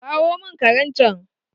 Kawo mun karen chan